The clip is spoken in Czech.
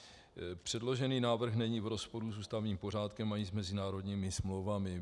Předložený návrh není v rozporu s ústavním pořádkem ani s mezinárodními smlouvami.